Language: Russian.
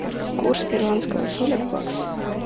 курс перуанского соля к баксу